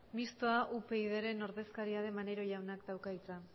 mistoa upydren ordezkaria den maneiro jaunak dauka hitza